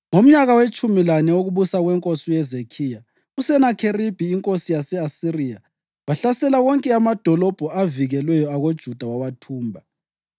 Ngomnyaka wetshumi lane wokubusa kwenkosi uHezekhiya, uSenakheribhi inkosi yase-Asiriya wahlasela wonke amadolobho avikelweyo akoJuda wawathumba.